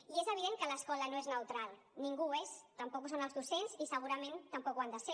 i és evident que l’escola no és neutral ningú ho és tampoc ho són els docents i segurament tampoc ho han de ser